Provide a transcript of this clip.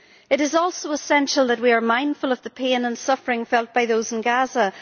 It is also essential that we are mindful of the pain and suffering felt by those in Gaza.